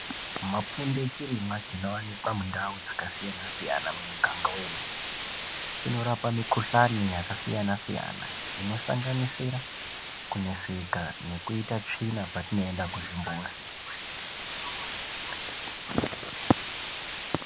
Mapfunde chirimwa chinowanikwa mundau dzakasiyana siyana mumuganga wedu chinorapa mukuhlani yakasiyana siyana ino sanganisira kuneseka nekuita tsvina patinoenda kuzvimbuzi.